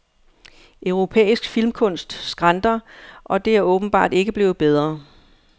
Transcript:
Europæisk filmkunst skranter, og det er åbenbart ikke blevet bedre.